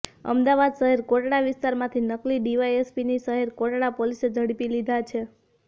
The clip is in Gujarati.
અમદાવાદ શહેર કોટડા વિસ્તારમાંથી નકલી ડીવાયએસપીની શહેર કોટડા પોલીસે ઝડપી લીધા છે